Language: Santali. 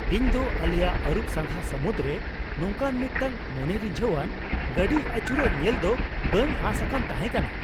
ᱤᱧᱫᱚ ᱟᱞᱮᱭᱟᱜ ᱟᱹᱨᱩᱵ ᱥᱟᱸᱜᱷᱟ ᱥᱟᱹᱢᱩᱫ ᱨᱮ ᱱᱚᱝᱠᱟᱱ ᱢᱤᱫᱴᱟᱝ ᱢᱚᱱᱮ ᱨᱤᱡᱷᱟᱹᱣᱟᱱ ᱜᱟᱹᱰᱤ ᱟᱹᱪᱩᱨᱚᱜ ᱧᱮᱞ ᱫᱚ ᱵᱟᱹᱧ ᱟᱸᱥ ᱟᱠᱟᱱ ᱛᱟᱦᱮᱸ ᱠᱟᱱᱟ ᱾